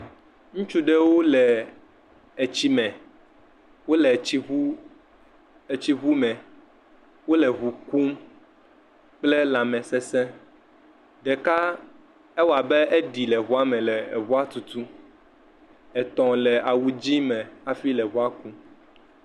Ŋutsu ɖewo le etsime, wole etsi ŋu..etsi ŋu me, wole ŋu kum kple lãmesese, ɖekaq awɔ abe eɖi le ŋuame le ŋua tutum, etɔ̃ le awu dzɛ̃ me hafi le ŋua kum.